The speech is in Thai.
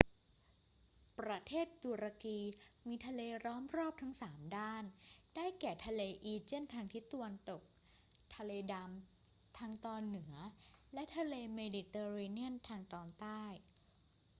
ประเทศตุรกีมีทะเลล้อมรอบทั้งสามด้าน ได้แก่ทะเลอีเจียนทางทิศตะวันตก ทะเลดำทางตอนเหนือ และทะเลเมดิเตอร์เรเนียนทางตอนใต้